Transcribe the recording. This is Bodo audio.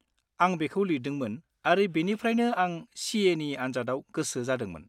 -आं बेखौ लिरदोंमोन आरो बेनिफ्रायनो आं CA नि आनजादाव गोसो जादोंमोन।